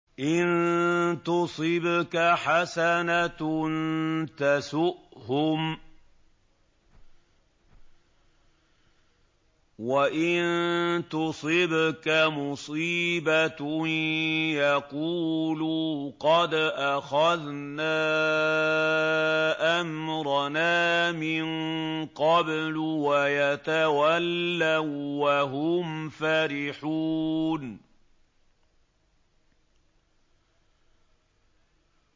إِن تُصِبْكَ حَسَنَةٌ تَسُؤْهُمْ ۖ وَإِن تُصِبْكَ مُصِيبَةٌ يَقُولُوا قَدْ أَخَذْنَا أَمْرَنَا مِن قَبْلُ وَيَتَوَلَّوا وَّهُمْ فَرِحُونَ